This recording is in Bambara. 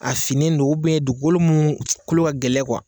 A finnen don dugukolo minnu kolo ka gɛlɛn